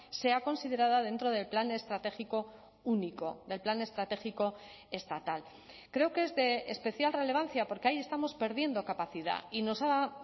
sea considerada dentro del plan estratégico único del plan estratégico estatal creo que es de especial relevancia porque ahí estamos perdiendo capacidad y nos ha